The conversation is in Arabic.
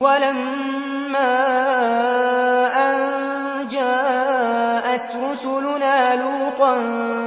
وَلَمَّا أَن جَاءَتْ رُسُلُنَا لُوطًا